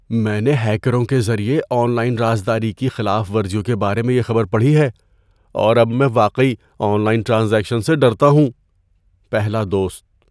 ‏میں نے ہیکروں کے ذریعے آن لائن رازداری کی خلاف ورزیوں کے بارے میں یہ خبر پڑھی ہے، اور اب میں واقعی آن لائن ٹرانزیکشن سے ڈرتا ہوں۔ (پہلا دوست)